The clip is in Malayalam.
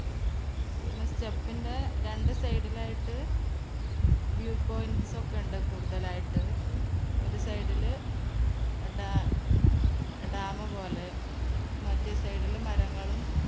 പിന്നെ step ന്റെ രണ്ട് side ൽ ആയിട്ട് view points ഒക്കെ ഉണ്ട് കൂടുതലായിട്ട് ഒരു side ൽ ഡാ ഡാം പോലെ മറ്റ് side ലും മരങ്ങളും